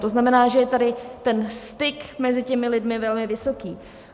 To znamená, že je tady ten styk mezi těmi lidmi velmi vysoký.